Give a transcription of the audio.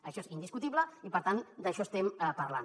això és indiscutible i per tant d’això estem parlant